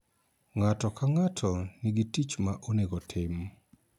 Ng�ato ka ng�ato nigi tich ma onego otim